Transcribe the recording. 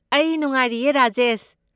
ꯑꯩ ꯅꯨꯡꯍꯥꯏꯔꯤꯌꯦ, ꯔꯥꯖꯦꯁ꯫